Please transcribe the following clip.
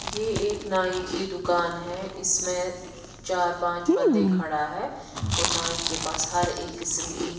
यह एक नाई की दुकान है इसमें चार-पांच बंदे खड़ा है और नाई के पास हर एक किस्म की।